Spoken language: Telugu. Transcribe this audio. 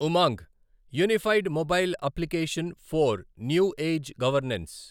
Umang unified mobile application for new age governance